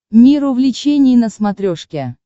мир увлечений на смотрешке